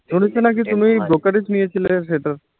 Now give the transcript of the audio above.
তুমি brokerage নিয়েছিলে সেটা